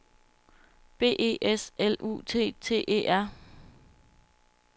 B E S L U T T E R